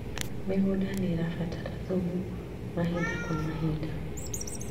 Mĩgũnda nĩĩrabatara thumu mahinda kwa mahinda